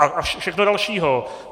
A všechno další.